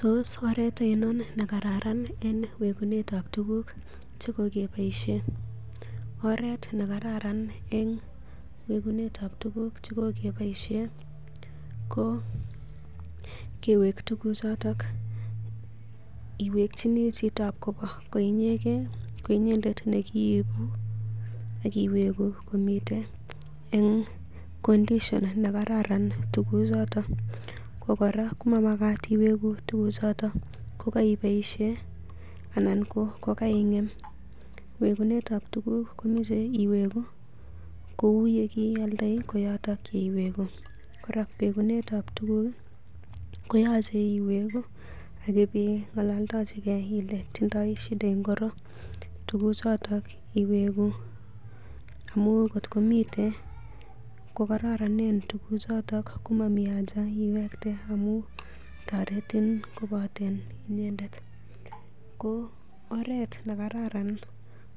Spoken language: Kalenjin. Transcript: Tos oret oinon ne kararan en wegunetab tuguk che kokeboisien? Oret nekararan en wegunetab tuguk che kogeboisien ko kewek tuguchoto iwekyini chitab kobo koinyendet neiwegu komiten en condition nekararan tuguchoto. Ko kora komamagat iwegu tuguchoto kogoiboisie anan ko kogaingem, wegunetab tuguk komoche iwegu kou ye kiioldoi ko yoton koiwegu. Kora wegunetab tuguk ko yoche iwegu ak ibing'alaldochi ile tinye shida ngiro tuguchoto iwegu amun ngot komiten kogaroronen tugucoto komami haja iwekte amun toretin koboten inyendet. Ko oret nekaran